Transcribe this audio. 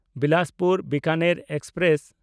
Bilaspur-Bikaner express